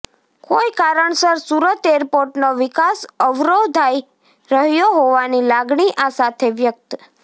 કોઈ કારણસર સુરત એરપોર્ટનો વિકાસ અવરોધાય રહ્યો હોવાની લાગણી આ સાથે વ્યક્ત